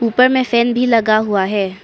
ऊपर में फैन भी लगा हुआ है।